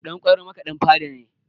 Ɗan ƙwairo makaɗin fada ne